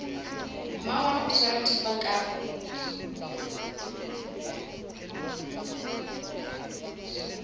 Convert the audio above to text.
mmangwana o tshwara thipa ka